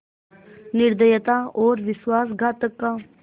निर्दयता और विश्वासघातकता का